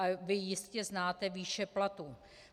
A vy jistě znáte výše platů.